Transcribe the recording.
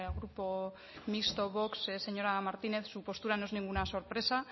grupo mixto vox señora martínez su postura no es ninguna sorpresa